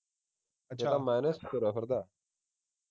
minus ਵਿਚ ਤੁਰਿਆਂ ਫਿਰਦਾ ਠੀਕ